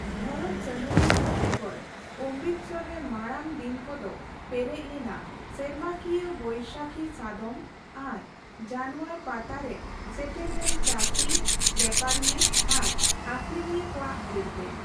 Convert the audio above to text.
ᱫᱷᱚᱨᱚᱢ ᱥᱟᱸᱜᱷᱟᱨᱤᱭᱟᱹ ᱠᱚ ᱵᱮᱜᱚᱨ, ᱚᱢᱨᱤᱛᱥᱚᱨ ᱨᱮ ᱢᱟᱲᱟᱝ ᱫᱤᱱ ᱠᱚᱫᱚ ᱯᱮᱨᱮᱡ ᱞᱮᱱᱟ ᱥᱮᱨᱢᱟᱠᱤᱭᱟᱹ ᱵᱳᱭᱥᱟᱠᱷᱤ ᱥᱟᱫᱚᱢ ᱟᱨ ᱡᱟᱱᱣᱟᱨ ᱯᱟᱛᱟ ᱨᱮ ᱥᱮᱴᱮᱨ ᱞᱮᱱ ᱪᱟᱹᱥᱤ, ᱵᱮᱯᱟᱨᱤᱭᱟᱹ ᱟᱨ ᱟᱠᱷᱨᱤᱧᱤᱭᱟᱹ ᱠᱚᱣᱟᱜ ᱵᱷᱤᱲ ᱛᱮ᱾